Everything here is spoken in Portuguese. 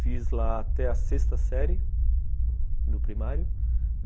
Fiz lá até a sexta série, do primário.